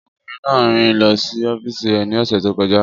Ọkùnrin náà rìn lọ sí ọ́fíìsì rẹ̀ ní ọ̀sẹ̀ tó kọjá.